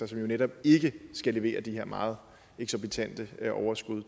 som jo netop ikke skal levere de her meget eksorbitante overskud